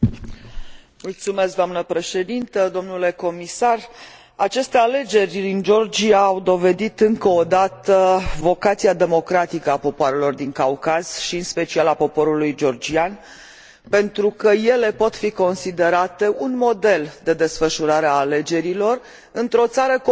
Aceste alegeri din Georgia au dovedit încă o dată vocația democratică a popoarelor din Caucaz, și în special a poporului georgian, pentru că ele pot fi considerate un model de desfășurare a alegerilor într o țară confruntată în istoria ei cu foarte multe derapaje democratice.